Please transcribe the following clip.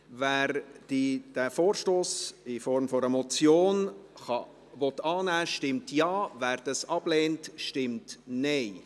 Wer diesen Vorstoss in Form einer Motion annehmen möchte, stimmt Ja, wer dies ablehnt, stimmt Nein.